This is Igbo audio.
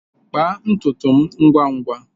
Kpaa ntutu m ngwa ngwa!